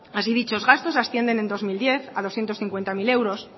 así dichos gastos ascienden en dos mil diez a doscientos cincuenta mil euros